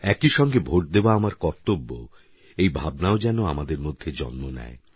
একই সঙ্গে ভোট দেওয়া আমার কর্তব্য এই ভাবনাও যেন আমাদের মধ্যে জন্ম নেয়